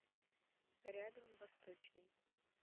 рядом восточный